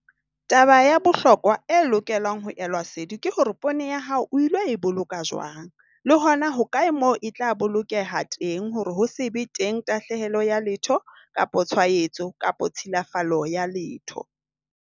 Taba ya bohlokwa e lokelang ho elwa sedi ke hore poone ya hao o ilo e boloka jwang, le hona hokae moo e tla bolokeha teng hore ho se be teng tahlehelo ya letho kapo tshwaetso kapo tshilafalo ya letho.